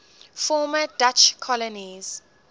former dutch colonies